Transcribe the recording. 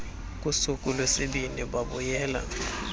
kusuku lwesibini babuyela